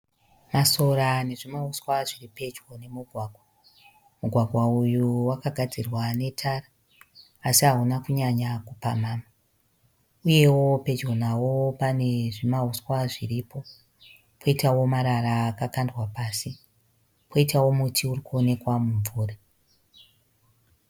Masora nezvimauswa zviri pedyo nemugwagwa. Mugwagwa uyu wakagadzirwa netara asi hauna kunyanya kupamhamha. Uyewo pedyo nawo pane zvimauswa zviripo, poitawo marara akakandwa pasi poitawo muti uri kuonekwa muvhuri.